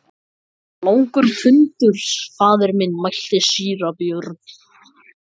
Langur fundur faðir minn, mælti síra Björn.